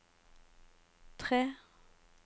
tre